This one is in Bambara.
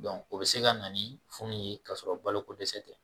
o bi se ka na ni funu ye ka sɔrɔ balo ko dɛsɛ tɛ